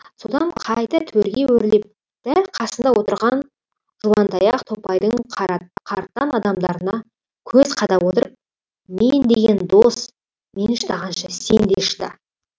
содан қайта төрге өрлеп дәл қасында отырған жуантаяқ топайдың қартаң адамдарына көз қадап отырып мен деген дос мен шыдағанша сен де шыда